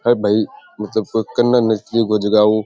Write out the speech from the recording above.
अरे भाई को जगहों --